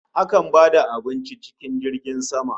Akan ba da abinci cikin jirgin sama